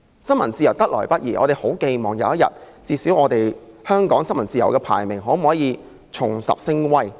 新聞自由得來不易，我們十分寄望有一天，香港在世界新聞自由指數的排名能重拾聲威。